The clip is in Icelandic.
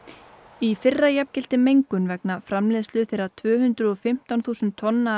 í fyrra jafngilti mengun vegna framleiðslu þeirra tvö hundruð og fimmtán þúsund tonna